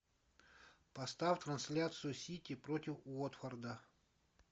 поставь трансляцию сити против уотфорда